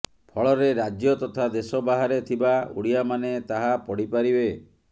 ଫଳରେ ରାଜ୍ୟ ତଥା ଦେଶ ବାହାରେ ଥିବା ଓଡ଼ିଆମାନେ ତାହା ପଢ଼ିପାରିବେ